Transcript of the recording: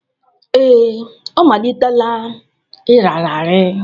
Ee, ọ malitela ịrara arị.